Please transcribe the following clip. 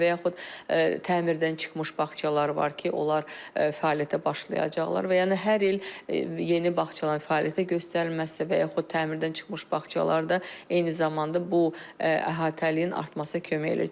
Və yaxud təmirdən çıxmış bağçalar var ki, onlar fəaliyyətə başlayacaqlar və yəni hər il yeni bağçaların fəaliyyətə göstərməyə isə və yaxud təmirdən çıxmış bağçalarda eyni zamanda bu əhatənin artmasına kömək edir.